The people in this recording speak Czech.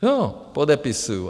Jo, podepisuju.